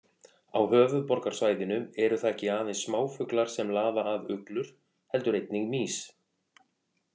Á höfuðborgarsvæðinu eru það ekki aðeins smáfuglar sem laða að uglur heldur einnig mýs.